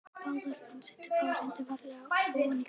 Hann setur báðar hendur varlega ofan í kassann.